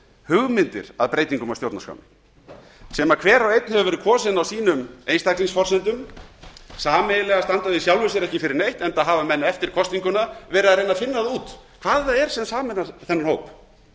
hugmyndir að breytingum á stjórnarskránni sem hver og einn hefur verið kosinn á sínum einstaklingsforsendum sameiginlega standa þau í sjálfu sér ekki fyrir neitt enda hafa menn eftir kosninguna verið að reyna að finna það út hvað það er sem sameinar þennan